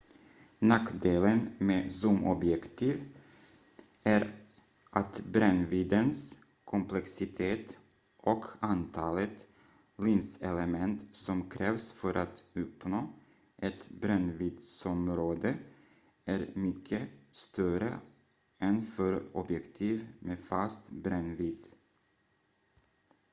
nackdelen med zoomobjektiv är att brännviddens komplexitet och antalet linselement som krävs för att uppnå ett brännviddsområde är mycket större än för objektiv med fast brännvidd